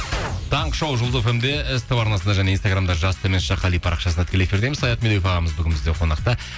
таңғы шоу жұлдыз фм де ств арнасында және инстаграмда жас қали парақшасында тікелей эфирдеміз саят медеуов ағамыз бүгін бізде қонақта